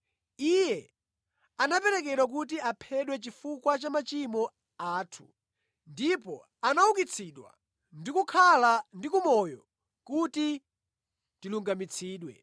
Iye anaperekedwa kuti aphedwe chifukwa cha machimo athu ndipo anaukitsidwa ndi kukhala ndi moyo kuti tilungamitsidwe.